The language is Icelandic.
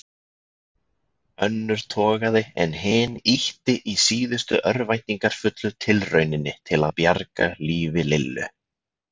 Önnur togaði en hin ýtti í síðustu örvæntingarfullu tilrauninni til að bjarga lífi Lillu.